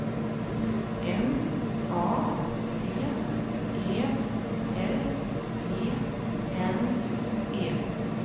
M A D E L E N E